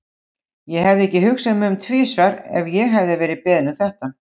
Ég hefði ekki hugsað mig um tvisvar ef ég hefði verið beðin um þetta.